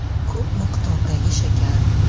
Ko‘p miqdordagi shakar!